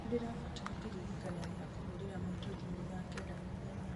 nĩ ndĩrabatara kĩririkania gĩa kũhũrĩra maitũ thimũ thaa kenda mũthenya